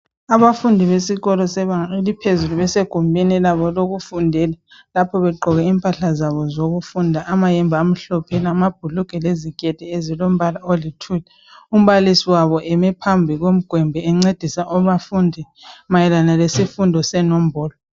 Abafundi besikolo sebanga eliphezulu besegumbini labo lokufundela lapho begqoke impahla zabo zokufunda amayembe amhlophe lamabhulugwe leziketi ezilombala oluthli. Umbalisi wabo eme phambi komugwembe encedisa obafundi mayelana lesifundo senombolo.